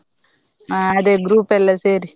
ಆ ಅದೇ group ಎಲ್ಲಾ ಸೇರಿ.